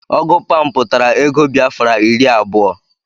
Ọgụ Pam pụtara ego Biafra iri abụọ